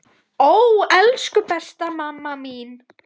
Stundum hugsum við alveg eins.